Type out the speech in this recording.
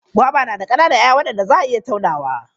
Goba na da ƙananan 'ya'ya waɗanda za a iya taunawa.